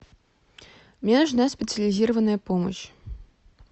мне нужна специализированная помощь